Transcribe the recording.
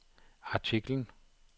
artiklen